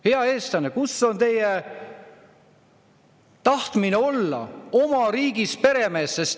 Head eestlased, kus on teie tahtmine olla oma riigis peremees?